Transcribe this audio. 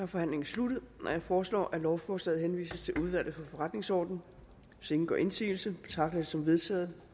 forhandlingen sluttet jeg foreslår at lovforslaget henvises til udvalget for forretningsordenen hvis ingen gør indsigelse betragter jeg dette som vedtaget